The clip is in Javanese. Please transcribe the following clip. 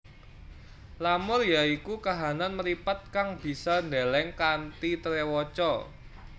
Lamur ya iku kahanan mripat kang bisa ndeleng kanthi trewaca